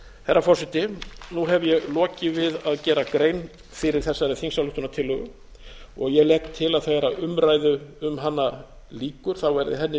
herra forseti nú hef ég lokið við gera grein fyrir þessari þingsályktunartillögu og legg til að þegar umræðu um hana lýkur verði henni